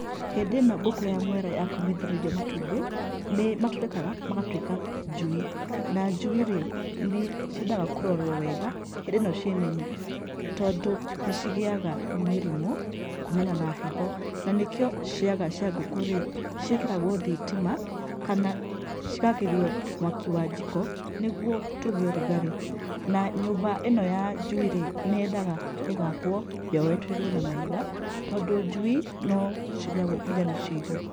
Hĩndĩ ĩno ngũkũ ya mwera ya komĩthĩrĩrio matumbĩ, nĩ matũrĩkaga magatuĩka njui, na njui-rĩ nĩ ciendaga kũrorwo wega hĩndĩ ĩno ciĩ nini. Tondũ nĩ cigĩaga mĩrimũ kumana na heho, na nĩ kĩo ciaga cia ngũkũ-rĩ, ciekĩragwo thitima kana cigakĩrio mwaki wa njiko, nĩguo tũgĩe urugarĩ. Na nyũmba ĩno ya njui-rĩ, nĩ yendaga ĩgakwo yoetwo igũrũ na mahiga, tondũ njui no cirĩagwo nginya nĩ ciihũ.